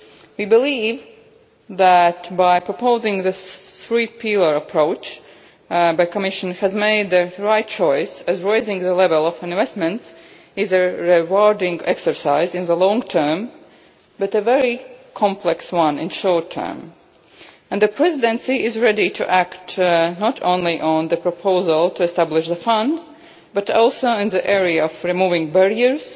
We believe that, by proposing the three pillar approach, the Commission has made the right choice because raising the level of investments is a rewarding exercise in the long term but a very complex one in the short term. The Presidency is ready to act not only on the proposal to establish the fund but also in the area of removing barriers